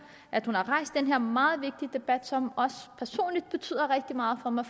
at hun har rejst den her meget vigtige debat som også personligt betyder rigtig meget for mig